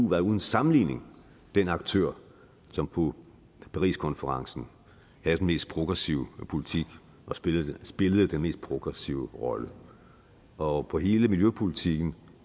var uden sammenligning den aktør som på pariskonferencen havde den mest progressive politik og spillede spillede den mest progressive rolle og på hele miljøpolitikken